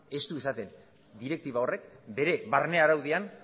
ez du esaten direktiba horrek bere barne araudian